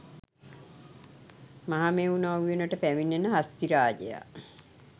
මහමෙව්නා උයනට පැමිණෙන හස්තිරාජයා